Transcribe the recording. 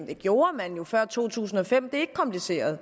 det gjorde man jo før to tusind og fem det er ikke kompliceret